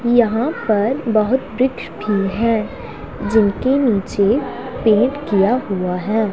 यहां पर बहुत वृक्ष भी हैं जिनके नीचे पेंट किया हुआ है।